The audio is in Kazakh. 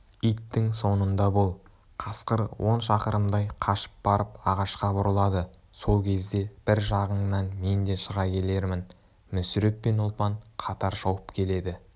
иттің соңында бол қасқыр он шақырымдай қашып барып ағашқа бұрылады сол кезде бір жағыңнан мен де шыға келермін мүсіреп пен ұлпан қатар шауып келеді